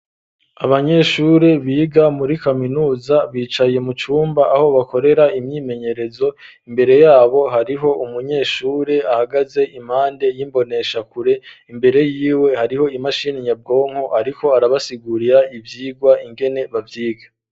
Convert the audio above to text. Abanyeshuri biga muri kaminuza bicaye mu cumba aho bakorera imyimenyerezo, imbere yabo hariho umunyeshuri ahagaze impande y'imboneshakure ,imbere yiwe hariho imashini nyabwonko ariko arabasigurira ivyigwa ingene bavyiga.